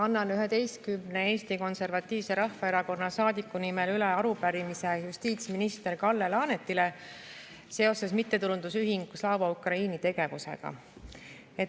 Annan 11 Eesti Konservatiivse Rahvaerakonna saadiku nimel üle arupärimise justiitsminister Kalle Laanetile seoses mittetulundusühingu Slava Ukraini tegevusega.